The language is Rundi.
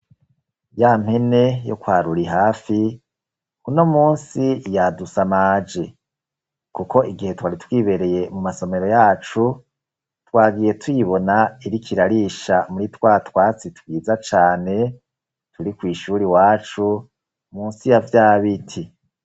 Ya mpene yo kwa Rurihafi uno munsi yadusamaje, kuko igihe twari twibereye mu masomero yacu twagiye tuyibona iriko irarisha muri twa twatsi twiza cane turi kw'ishuri iwacu munsi ya vya biti.